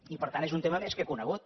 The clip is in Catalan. i per tant és un tema més que conegut